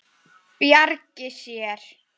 Bjargi sér.